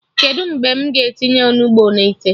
Kedụ mgbe m ga-etinye Onugbu na ite?